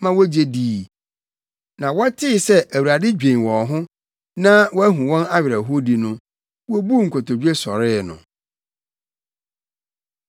ma wogye dii. Na wɔtee sɛ Awurade dwen wɔn ho na wahu wɔn awerɛhowdi no, wobuu nkotodwe sɔree no.